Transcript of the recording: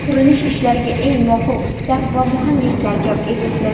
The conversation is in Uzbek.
Qurilish ishlariga eng mohir usta va muhandislar jalb etildi.